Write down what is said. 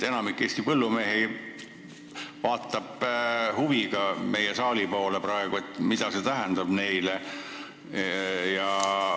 Enamik Eesti põllumehi vaatab praegu huviga meie saali poole, et aru saada, mida uus seadus neile tähendab.